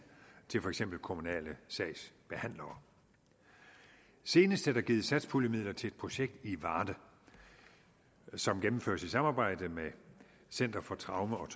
til for eksempel kommunale sagsbehandlere senest er der givet satspuljemidler til et projekt i varde som gennemføres i samarbejde med center for traume og